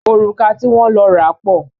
Òrùka ti wọ́n lọ ra pọ̀.